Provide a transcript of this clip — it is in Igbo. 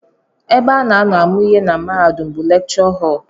Ebe a na-anọ amụ ihe na mahadum bụ lekchọ họl